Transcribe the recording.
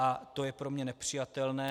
A to je pro mě nepřijatelné.